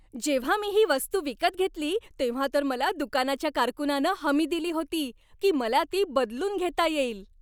जेव्हा मी ही वस्तू विकत घेतली, तेव्हा तर मला दुकानाच्या कारकुनानं हमी दिली होती, की मला ती बदलून घेता येईल.